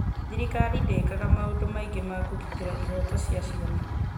thirikari ndĩkaga maũndũ maingĩ ma kũgitĩra ihoto cia ciana